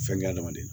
Fɛnkɛ adamaden